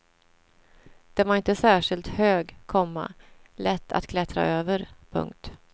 Den var inte särskilt hög, komma lätt att klättra över. punkt